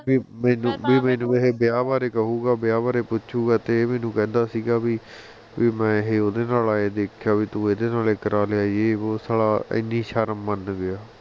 ਵੀ ਮੈਨੂੰ ਇਹ ਵਿਆਹ ਬਾਰੇ ਕਹੂਗਾ ਵਿਆਹ ਬਾਰੇ ਪੁੱਛੂਗਾ ਤੇ ਇਹ ਮੈਨੂੰ ਕਹਿੰਦਾ ਸੀ ਗਾ ਵੀ ਮੈਂ ਹਜੇ ਇਹ ਨੂੰ ਓਹਦੇ ਨਾਲ ਇਹ ਦੇਖਿਆ ਵੀ ਤੂੰ ਓਹਦੇ ਨਾਲ ਇਹ ਕਰਾ ਲਿਆ ਯੇ ਵੋ ਸਾਲਾ ਇੰਨੀ ਸ਼ਰਮ ਮੰਨ ਗਿਆ